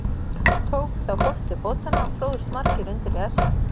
Tók þá fólk til fótanna og tróðust margir undir í æsingnum.